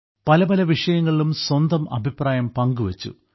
പല പല വിഷയങ്ങളിലും സ്വന്തം അഭിപ്രായം പങ്കുവെച്ചു